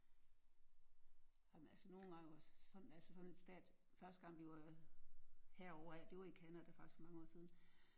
Ej men altså nogen gange altså sådan en stat første gang vi var herover af det det var i Canada faktisk for mange år siden